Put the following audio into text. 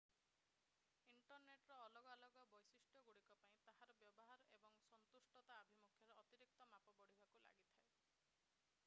ଇଣ୍ଟରନେଟର ଅଲଗା ଅଲଗା ବୈଶିଷ୍ଟ୍ୟଗୁଡିକ ପାଇଁ ତାହାର ବ୍ୟବହାର ଏବଂ ସନ୍ତୁଷ୍ଟତା ଆଭିମୁଖ୍ୟରେ ଅତିରିକ୍ତ ମାପ ବଢିବାକୁ ଲାଗିଥାଏ